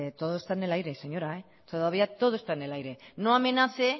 todo está en el aire señora todavía todo está en el aire no amenace